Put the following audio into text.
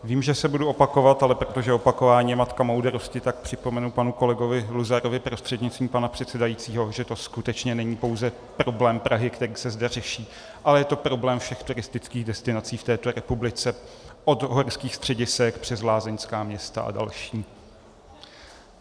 Vím, že se budu opakovat, ale protože opakování je matka moudrosti, tak připomenu panu kolegovi Luzarovi prostřednictvím pana předsedajícího, že to skutečně není pouze problém Prahy, který se zde řeší, ale je to problém všech turistických destinací v této republice od horských středisek přes lázeňská města a další.